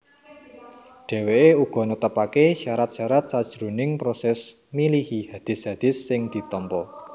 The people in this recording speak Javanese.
Dheweke uga netepake syarat syarat sajroning proses milihi hadis hadis sing ditampa